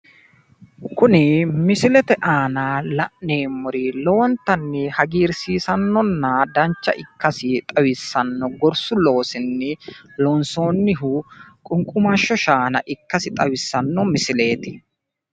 Kuni misilete aana la'neemmori lowonttanni hagiirsiisannonna dancha ikkasi xawissanno gorssu loosinni loonssooniho qunqumasho shaana ikkasi xawissanno misileeti.